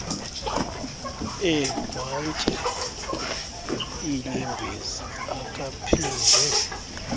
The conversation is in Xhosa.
egwantyi iinyembezi akaphinde